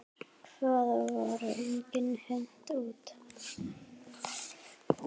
Það var engum hent út.